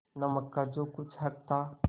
नमक का जो कुछ हक था